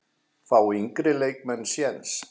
Fá yngri leikmenn séns?